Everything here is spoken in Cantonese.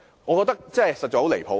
我覺得這很離譜。